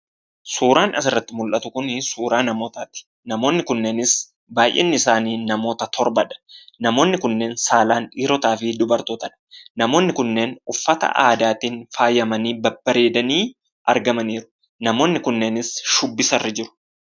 Suuraan asirratti mul'atu kun suuraa namootati. Namoonni kunneenis, baay'inni isaanii namoota torbadha. Namoonni kanneen saalaan dhiirootaafi dubartootadha. Namoonni kunneen uffata aadaatiin faayamanii; babbareedanii argamaniiru. Namoonni kunneenis, shubbisarra jiru.